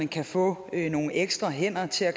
kan få nogle ekstra hænder til at